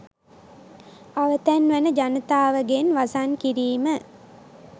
අවතැන් වන ජනතාව ගෙන් වසන් කිරීම